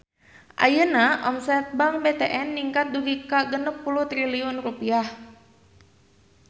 Ayeuna omset Bank BTN ningkat dugi ka 60 triliun rupiah